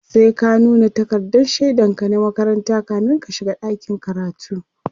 sai ka nuna takardan shaidan ka na makaranta kamin ka shiga dakin karatu